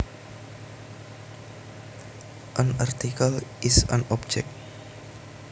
An article is an object